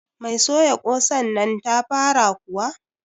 Mai soya kosannnan ta fara kuwa?